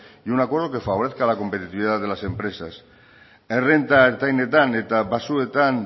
y un acuerdo que favorezca a la competitividad de las empresas errenta ertainetan eta baxuetan